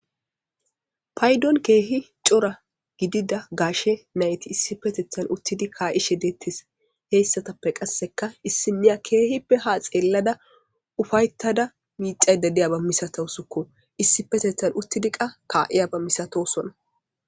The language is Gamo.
Paydon keehi cora gidida gashe nayti issi petethan uttidi kaa7ishe deettis heyssatappe qasseka issimiya keehippe ha xeellada ufayttada miixayda diyaba misatosukko issi petethan uttidi qa kaa7iyaba misatosona.